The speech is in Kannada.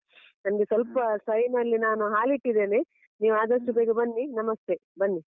ನನ್ಗೆ ಸ್ವಲ್ಪ ಅಲ್ಲಿ ನಾನು ಹಾಲಿಟ್ಟಿದ್ದೇನೆ. ನೀವು ಆದಷ್ಟು ಬೇಗ ಬನ್ನಿ ನಮಸ್ತೆ ಬನ್ನಿ.